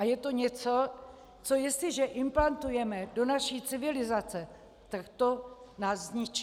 A je to něco, co, jestliže implantujeme do naší civilizace, tak to nás zničí.